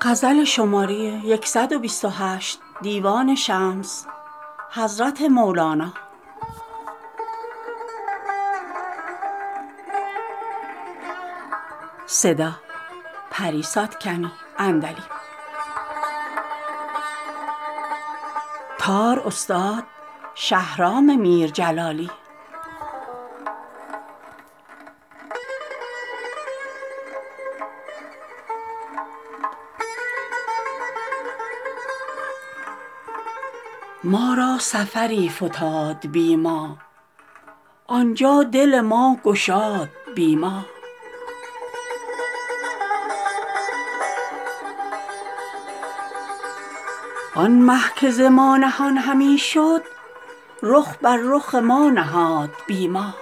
ما را سفری فتاد بی ما آن جا دل ما گشاد بی ما آن مه که ز ما نهان همی شد رخ بر رخ ما نهاد بی ما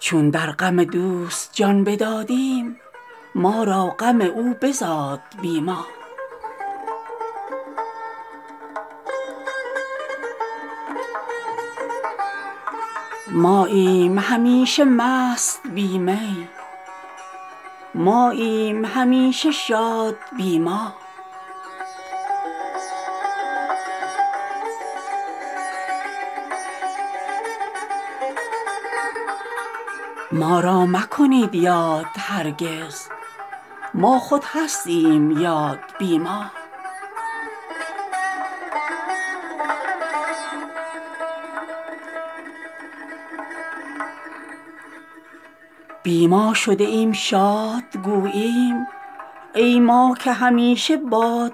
چون در غم دوست جان بدادیم ما را غم او بزاد بی ما ماییم همیشه مست بی می ماییم همیشه شاد بی ما ما را مکنید یاد هرگز ما خود هستیم یاد بی ما بی ما شده ایم شاد گوییم ای ما که همیشه باد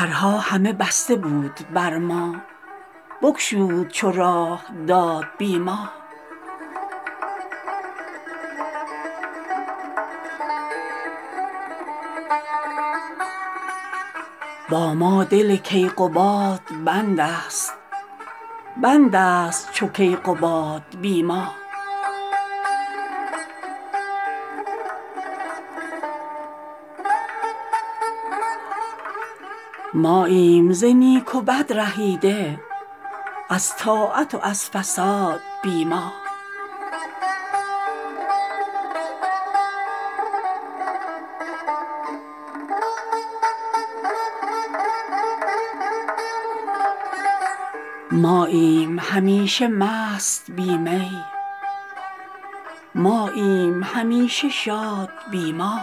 بی ما درها همه بسته بود بر ما بگشود چو راه داد بی ما با ما دل کیقباد بنده ست بنده ست چو کیقباد بی ما ماییم ز نیک و بد رهیده از طاعت و از فساد بی ما